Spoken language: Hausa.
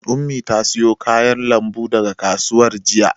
Ummi ta siyo kayan lambu daga kasuwar jiya.